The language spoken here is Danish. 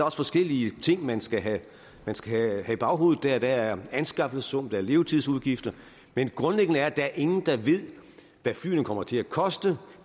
også forskellige ting man skal have skal have i baghovedet der er anskaffelsessummen der er levetidsudgifter men grundlæggende er der ingen der ved hvad flyene kommer til at koste